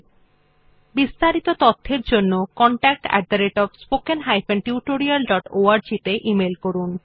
এই বিষয় বিস্তারিত তথ্যের জন্য contactspoken tutorialorg তে ইমেল করুন